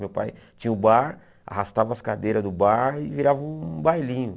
Meu pai tinha o bar, arrastava as cadeiras do bar e virava um bailinho.